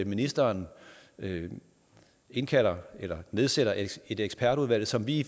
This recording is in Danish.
ministeren indkalder eller nedsætter et ekspertudvalg som vi